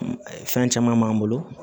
Fɛn caman b'an bolo